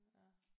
Ja